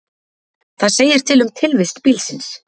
það segir til um tilvist bílsins